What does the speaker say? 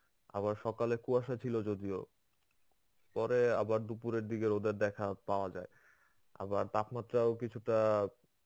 আবার সকালে কুয়াশা ছিল যদিও পরে আবার দুপুরের দিকে রোদের দেখা পাওয়া যায়. আবার তাপমাত্রাও কিছুটা